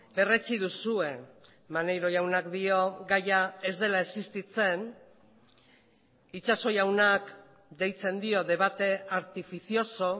berretsi duzue maneiro jaunak dio gaia ez dela existitzen itxaso jaunak deitzen dio debate artificioso